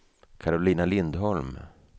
Karolina Lindholm